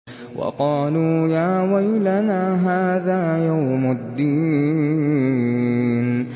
وَقَالُوا يَا وَيْلَنَا هَٰذَا يَوْمُ الدِّينِ